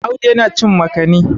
Audu yana cin makani